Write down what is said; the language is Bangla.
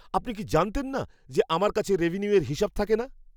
আপনি কি জানতেন না যে আমার কাছে রেভিনিউয়ের হিসাব থাকে না!